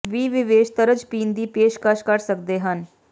ਵੀ ਵਿਸ਼ੇਸ਼ ਤਰਜ ਪੀਣ ਦੀ ਪੇਸ਼ਕਸ਼ ਕਰ ਸਕਦੇ ਹਨ